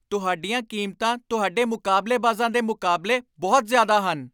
ਤੁਹਾਡੀਆਂ ਕੀਮਤਾਂ ਤੁਹਾਡੇ ਮੁਕਾਬਲੇਬਾਜ਼ਾਂ ਦੇ ਮੁਕਾਬਲੇ ਬਹੁਤ ਜ਼ਿਆਦਾ ਹਨ।